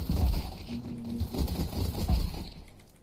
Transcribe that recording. ты мне найдешь таверна